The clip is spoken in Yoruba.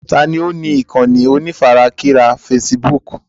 Taàní ó ní ìkànnì onífarakínra fésííbùùkù?